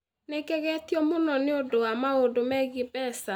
Nĩ ngegetio mũno nĩ ũndũ wa maũndũ megiĩ mbeca